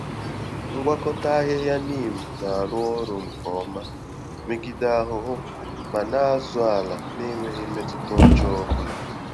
Ngwakọta-ahịhịa Neem na-arụ ọrụ nke ọma megide ahụhụ ma na-azụ ala na-enweghị mmetụta ọjọọ ọbụla.